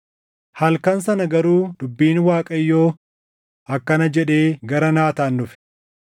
Halkan sana garuu dubbiin Waaqayyoo akkana jedhee gara Naataan dhufe: